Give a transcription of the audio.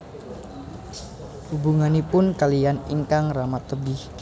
Hubunganipun kaliyan ingkang rama tebih